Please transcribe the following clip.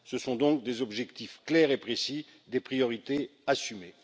Ce sont donc des objectifs clairs et précis, des priorités assumées.